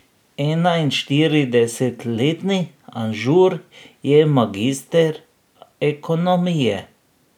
Enainštiridesetletni Anžur je magister ekonomije.